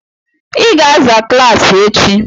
I ga-aza klaasị echi!